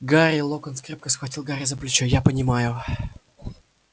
гарри локонс крепко схватил гарри за плечо я понимаю